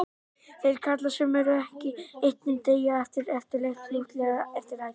Þeir karlar sem ekki eru étnir deyja yfirleitt fljótlega eftir æxlun.